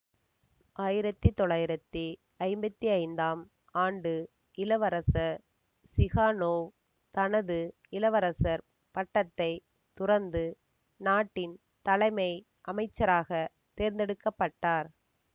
ஆயிரத்தி தொள்ளாயிரத்தி ஐம்பத்தி ஐந்தாம் ஆண்டு இளவரசர் சிகானோவ் தனது இளவரசர் பட்டத்தைத் துறந்து நாட்டின் தலைமை அமைச்சராகத் தேர்ந்தெடுக்க பட்டார்